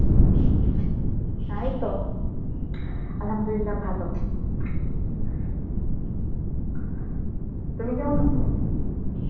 হ্যাঁ এই তো, Arbi ভালো. তুমি কেমন আছো?